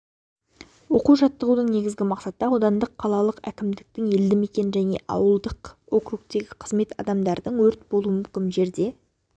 оқу-жаттығудың негізгі мақсаты аудандық қалалық әкімдіктің елдімекен және ауылдық округтегі қызмет адамдардың өрт болуы мүмкін жерге